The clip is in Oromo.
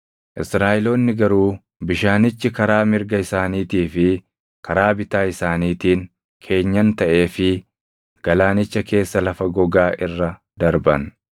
Israaʼeloonni garuu bishaanichi karaa mirga isaaniitii fi karaa bitaa isaaniitiin keenyan taʼeefii galaanicha keessa lafa gogaa irra darban.